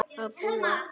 Að búa?